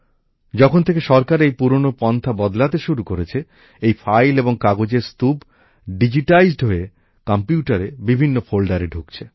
যখন থেকে সরকার এই পুরানো পন্থা বদলাতে শুরু করেছে এই ফাইল এবং কাগজের স্তূপ ডিজিটাইজ হয়ে কম্পিউটারে বিভিন্ন ফোল্ডারে ঢুকছে